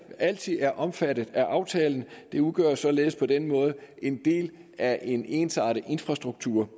altid er omfattet af aftalen det udgør således på den måde en del af en ensartet infrastruktur